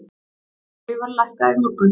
Olíuverð lækkaði í morgun.